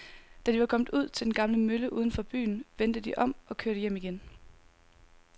Da de var kommet ud til den gamle mølle uden for byen, vendte de om og kørte hjem igen.